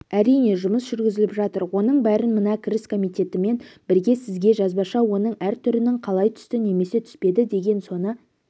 әрине жұмыс жүргізіліп жатыр оның бәрін мына кіріс комитетімен бірге сізге жазбаша оның әр түрінің қалай түсті немесе түспеді деген соны